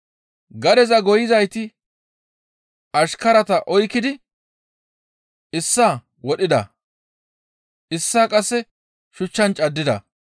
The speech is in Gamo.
Gadeza goyizayti ashkarata oykkidi issaa wodhida; issaa qasse shuchchan caddida.